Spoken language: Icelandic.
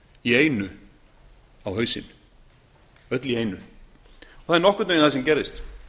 í einu á hausinn öll í einu það er nokkurn veginn það sem gerðist